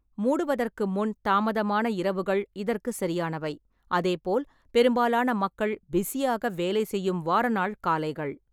மூடுவதற்கு முன் தாமதமான இரவுகள் இதற்கு சரியானவை, அதே போல் பெரும்பாலான மக்கள் பிஸியாக வேலை செய்யும் வார நாள் காலைகள்.